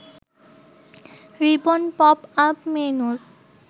ribbon popup মেন্যুর